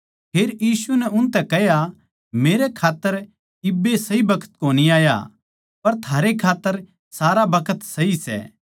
फेर यीशु नै उनतै कह्या मेरा खात्तर इब्बै सही बखत कोनी आया पर थारै खात्तर सारा बखत सही सै